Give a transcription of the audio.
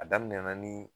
A daminɛna ni